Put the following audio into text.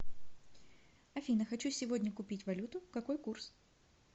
афина хочу сегодня купить валюту какой курс